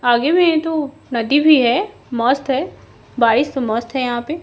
आगे में तो नदी भी है मस्त है बारिश तो मस्त है यहां पे--